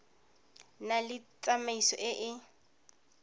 na le tsamaiso e e